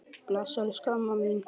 Bless, elsku amma mín.